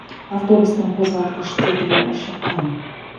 автобустың қозғалтқыш тетігі шыққан